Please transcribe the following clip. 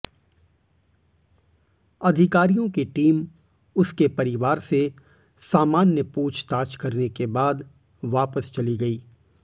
अधिकारियों की टीम उसके परिवार से सामान्य पूछताछ करने के बाद वापस चली गई